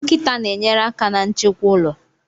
Nkịta na-enyere aka na nchekwa ụlọ